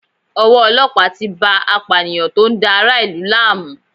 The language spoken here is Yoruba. Owó ọlọ́pàá tí bá a apànìyàn tó ń dá ara ìlú láàmú.